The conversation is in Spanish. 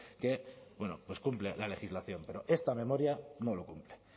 que bueno pues cumple la legislación pero esta memoria no lo cumple